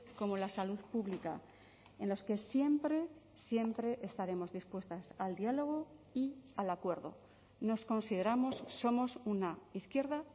como la salud pública en los que siempre siempre estaremos dispuestas al diálogo y al acuerdo nos consideramos somos una izquierda